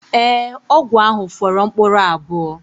Ee, ọgwụ ahụ fọrọ mkpụrụ abụọ